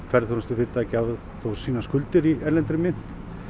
ferðaþjónustufyrirtæki hafa þó skuldir í erlendri mynt